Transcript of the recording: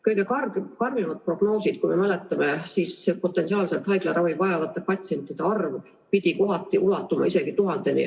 Kõige karmimad prognoosid, kui me mäletame, on olnud sellised, et haiglaravi vajavate patsientide arv võib ulatuda isegi 1000-ni.